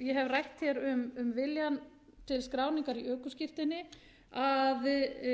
ég hef rætt hér um viljann til skráningar í ökuskírteini þurfi